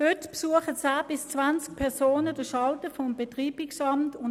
Heute suchen 10 bis 20 Personen den Schalter des Betreibungsamts auf.